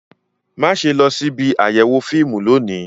Má ṣe lọ síbi àyẹ̀wò fíìmù lónìí